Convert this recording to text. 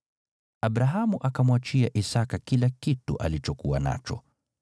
Abrahamu akamwachia Isaki kila kitu alichokuwa nacho.